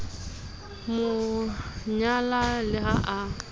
mo nyala le ha a